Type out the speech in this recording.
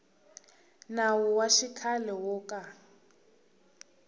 nawu wa xikhale wo ka